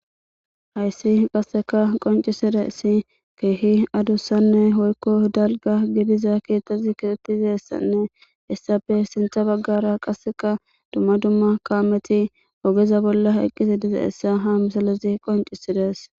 hayssi qasseka qoncisizayssi keehi adussanne woykko dalgga gidiza keeththazi betizyssanne hessafe sintha baggara qasseka dumma dumma kaameti ogeza bolla eqqidi dizayssa ha misilezi qoncisides